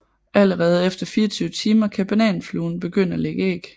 Allerede efter 24 timer kan bananfluen begynde at lægge æg